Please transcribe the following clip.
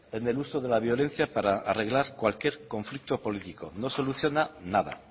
en el uso de la violencia para arreglar cualquier conflicto político no soluciona nada